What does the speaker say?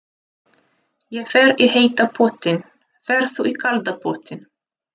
Ég fer í heita pottinn. Ferð þú í kalda pottinn?